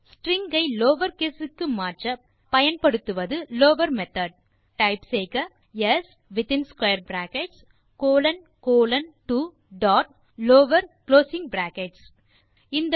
string ஐ lower caseக்கு மாற்ற பயன்படுத்துவது lower மெத்தோட் டைப் செய்க s in square brackets colon colon 2 dot lower closing brackets